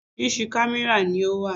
Orísìírísìí kámẹ́rà ni ó wà.